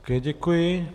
Také děkuji.